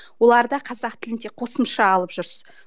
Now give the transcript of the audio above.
олар да қазақ тілін де қосымша алып